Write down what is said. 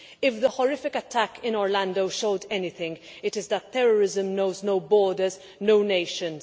If the horrific attack in Orlando showed anything it is that terrorism knows no borders, no nations.